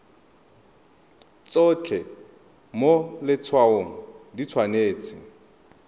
tsotlhe mo letshwaong di tshwanetse